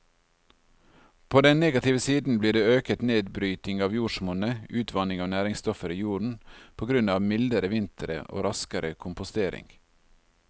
På den negative siden blir det øket nedbryting av jordsmonnet, utvanning av næringsstoffer i jorden på grunn av mildere vintre og raskere kompostering.